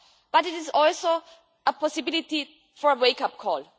But it is also a possibility for a wake up call.